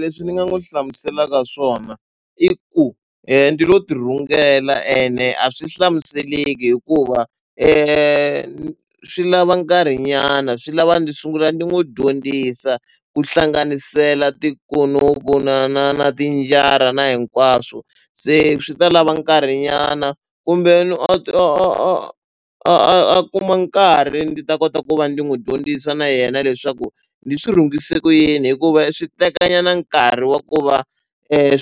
Leswi ni nga n'wi hlamuselaka swona i ku ndi lo tirhungela ene a swi hlamuseleki hikuva swi lava nkarhinyana swi lava ndzi sungula ndzi n'wi dyondzisa ku hlanganisela tikunupu na na na tinjara na hinkwaswo se swi ta lava nkarhinyana kumbe a a kuma nkarhi ndzi ta kota ku va ndzi n'wi dyondzisa na yena leswaku ndzi swi rhungise ku yini hikuva swi tekanyana nkarhi wa ku va